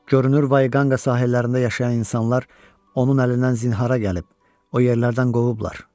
Görünür, Vayqanqa sahillərində yaşayan insanlar onun əlindən zinhara gəlib, o yerlərdən qovublar.